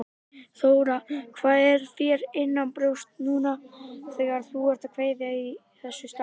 Þóra: Hvað er þér innanbrjósts núna þegar þú ert að kveðja í þessu starfi?